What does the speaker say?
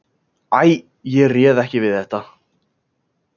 Æ, ég réð ekki við þetta.